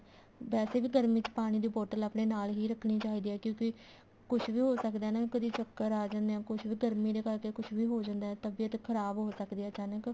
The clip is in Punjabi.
ਵੈਸੇ ਵੀ ਗਰਮੀ ਚ ਪਾਣੀ ਦੀ bottle ਆਪਣੇ ਨਾਲ ਹੀ ਰੱਖਣੀ ਚਾਹੀਦੀ ਹੈ ਕਿਉਂਕਿ ਕੁੱਛ ਵੀ ਹੋ ਸਕਦਾ ਨਾ ਕਦੀ ਚੱਕਰ ਆ ਜਾਣੇ ਆ ਗਰਮੀ ਦੇ ਕਰਕੇ ਕੁੱਛ ਵੀ ਹੋ ਸਕਦਾ ਤਬੀਅਤ ਖਰਾਬ ਹੋ ਸਕਦੀ ਹੈ ਅਚਾਨਕ